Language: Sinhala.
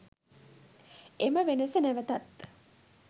එම වෙනස නැවතත්